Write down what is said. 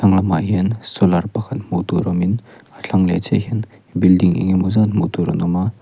hmaah hian solar pakhat hmuh tûr awmin a thlang leh chiah hian building eng emaw zât hmuh tûr an awm a.